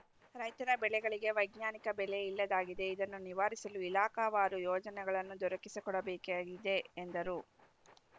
ರೈತರ ಬೆಳೆಗಳಿಗೆ ವೈಜ್ಞಾನಿಕ ಬೆಲೆ ಇಲ್ಲದಾಗಿದೆ ಇದನ್ನು ನಿವಾರಿಸಲು ಇಲಾಖಾವಾರು ಯೋಜನೆಗಳನ್ನು ದೊರಕಿಸಿಕೊಡಬೇಕಿದೆ ಎಂದರು